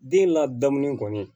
Den ladamulen kɔni